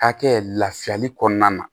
Hakɛ lafiyali kɔnɔna na